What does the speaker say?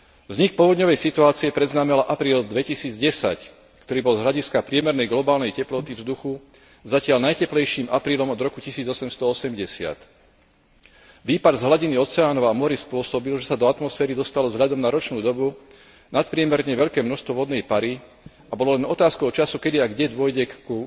Vznik povodňovej situácie predznamenal apríl 2010, ktorý bol z hľadiska priemernej globálnej teploty vzduchu zatiaľ najteplejším aprílom od roku 1880. Výpary z hladiny oceánov a morí spôsobili, že sa do atmosféry dostalo vzhľadom na ročnú dobu nadpriemerne veľké množstvo vodnej pary, a bolo len otázkou času, kedy a kde dôjde k